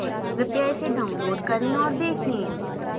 कृपया इसे download करें और देखें